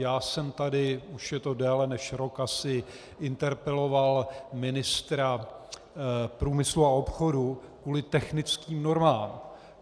Já jsem tady, už je to déle než rok asi, interpeloval ministra průmyslu a obchodu kvůli technickým normám.